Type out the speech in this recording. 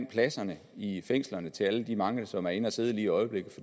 pladserne i fængslerne til alle de mange som er inde at sidde lige i øjeblikket